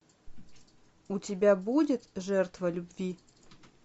у тебя будет жертва любви